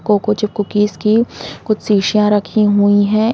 Cocoa की cookies की कुछ शीशियाँ राखी हुई हैं।